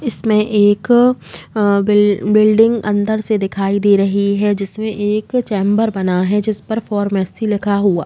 इसमें एक अ बिल बिल्डिंग अंदर से दिखाई दे रही है जिसमे एक चेंबर बना है। जिस पर फोरमेसी लिखा हुआ --